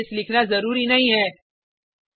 else case लिखना जरुरी नहीं है